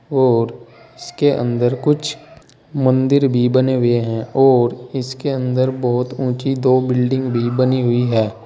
और इसके अंदर कुछ मंदिर भी बने हुए हैं और इसके अंदर बहोत ऊंची दो बिल्डिंग भी बनी हुई है।